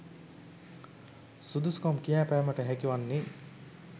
සුදුසුකම් කියාපෑමට හැකි වන්නේ